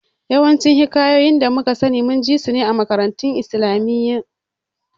Yawancin Hikayoyin da muka sani mun ji sun ne a makarantun islamiyya